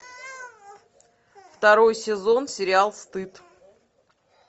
второй сезон сериал стыд